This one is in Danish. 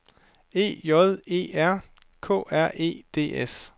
E J E R K R E D S